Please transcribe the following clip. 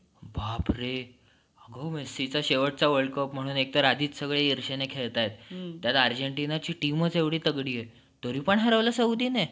बापरे आग मेस्सीचा शेवटचा world cup म्हणून एकतर आधीच सगळे इर्षेने खेळताय. त्यात अर्जेंटिनाची teamचं इतकी तगडीये तरीपण हरवलं सौदीने.